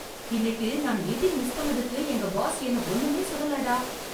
இன்னைக்கு நான் meeting miss பண்ணதுக்கு எங்க பாஸ் என்ன ஒண்ணுமே சொல்லல டா!